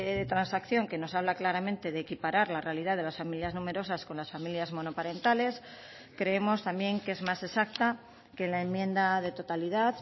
de transacción que nos habla claramente de equiparar la realidad de las familias numerosas con las familias monoparentales creemos también que es más exacta que la enmienda de totalidad